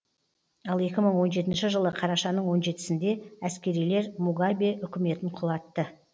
ал екі мың он жетінші жылы қарашаның он жетіде әскерилер мугабе үкіметін құлатты